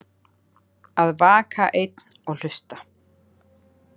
Að vaka einn og hlusta